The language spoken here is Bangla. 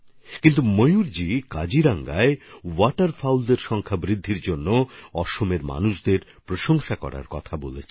কিন্তু ময়ূরজি কাজিরাঙ্গার ওয়াটারফাউল বা জলকুক্কুট নামের পাখির সংখ্যাবৃদ্ধির জন্য আসামের মানুষদের প্রশংসা করার জন্য এটা বলেছেন